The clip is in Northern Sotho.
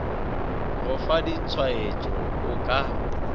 go fa ditshwaetšo o ka